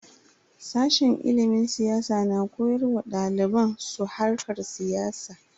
Sashen ilimin siyasa na koyar wa daliban su harkar siyasa.